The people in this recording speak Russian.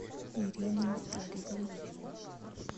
ирину витальевну